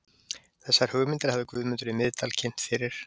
Þessar hugmyndir hafði Guðmundur í Miðdal kynnt fyrir